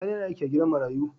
Sani yAna aiki a gidan marayu